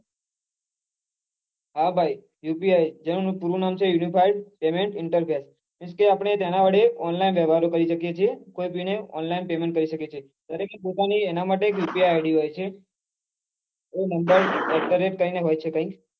હા ભાઈ UPI જે નું પૂરું નામ છે Unified payment interface કે આપડે તેના વડે online વવ્યહારો કરી શકીએ છીએ કોઈ ભી ને online payment કરી શકીએ છીએ દરેક ને એના માટે UPI id હોય છે એ નો number એટઘરેટ કરીને હોય છે કઈ